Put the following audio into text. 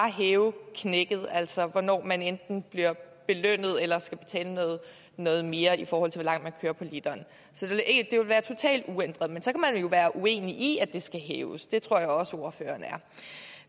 hævet altså hvornår man enten bliver belønnet eller skal betale noget mere i forhold til hvor langt man kører på literen så det vil være totalt uændret men så kan man jo være uenig i at det skal hæves det tror jeg også at ordføreren